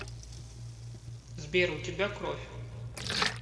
сбер у тебя кровь